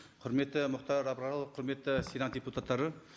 құрметті мұхтар абрарұлы құрметті сенат депутаттары